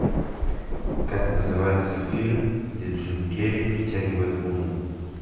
как называется фильм где джим керри притягивает луну